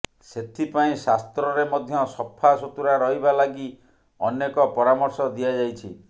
ସେଥିପାଇଁ ଶାସ୍ତ୍ରରେ ମଧ୍ୟ ସଫା ସୁତୁରା ରହିବା ଲାଗି ଅନେକ ପରାମର୍ଶ ଦିଆଯାଇଛି